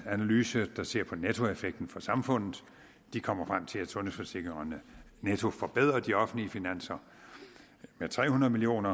analyse der ser på nettoeffekten for samfundet de kommer frem til at sundhedsforsikringerne netto forbedrer de offentlige finanser med tre hundrede million